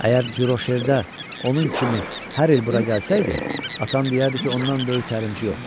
Əgər Dirosherdə onun kimi hər il bura gəlsəydi, atan deyərdi ki, ondan böyük təlimçi yoxdur.